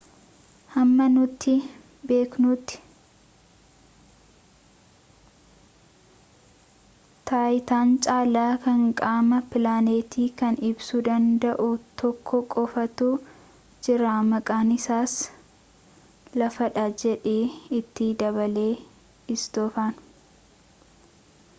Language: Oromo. hamma nuti beeknuti taayitaan caalaa kan qaama pilaanetii kana ibsuu danda'u tokko qofatu jira maqaan isaas lafa dha jedhe itti dabale istoofan